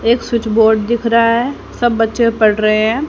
एक switch board दिख रहा है सब बच्चे पढ़ रहे हैं।